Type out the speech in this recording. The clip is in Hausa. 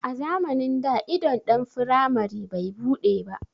A zamanin da idon ɗan firamari bai buɗe ba